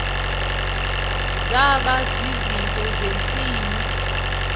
zaba zizinto zentsini